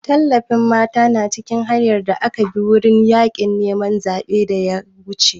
Tallafin mata na cikin hanyar da aka bi wurin yaƙin neman zaɓen da ya wuce.